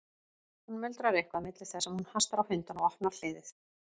Hún muldrar eitthvað milli þess sem hún hastar á hundana og opnar hliðið.